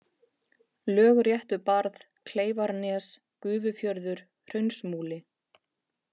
Lögréttubarð, Kleifarnes, Gufufjörður, Hraunsmúli